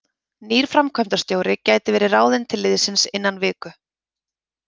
Nýr framkvæmdarstjóri gæti verið ráðinn til liðsins innan viku.